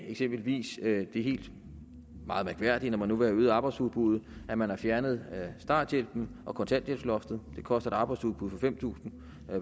eksempelvis det helt mærkværdige når man nu vil øge arbejdsudbuddet at man har fjernet starthjælpen og kontanthjælpsloftet det koster et arbejdsudbud på fem tusind